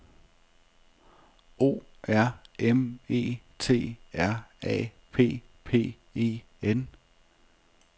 O R M E T R A P P E N